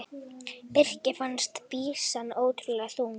Birki fannst byssan ótrúlega þung.